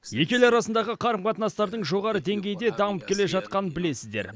екі ел арасындағы қарым қатынастардың жоғары деңгейде дамып келе жатқанын білесіздер